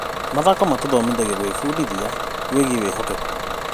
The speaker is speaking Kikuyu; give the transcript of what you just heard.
Mathako matũhotithagia gwĩbundithia wĩgiĩ wĩhokeku.